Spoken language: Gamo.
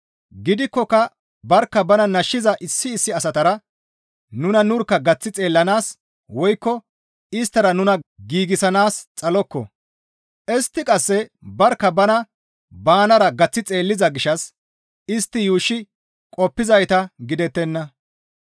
Gidikkoka barkka bana nashshiza issi issi asatara nuna nurkka gaththi xeellanaas woykko isttara nuna giigsanaas xalokko; istti qasse barkka bana banara gaththi xeelliza gishshas istti yuushshi qoppizayta gidettenna.